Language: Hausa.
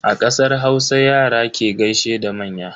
A kasar Hausa, Yara ke gaishe da manya.